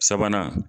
Sabanan